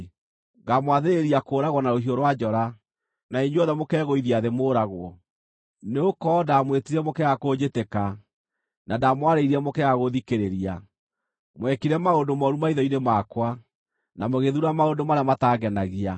ngaamwathĩrĩria kũũragwo na rũhiũ rwa njora, na inyuothe mũkegũithia thĩ mũũragwo; nĩgũkorwo ndamwĩtire mũkĩaga kũnjĩtĩka, na ndamwarĩirie mũkĩaga gũthikĩrĩria. Mwekire maũndũ mooru maitho-inĩ makwa, na mũgĩthuura maũndũ marĩa matangenagia.”